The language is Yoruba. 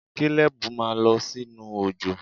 Kalebu ma lọ sinu ojo!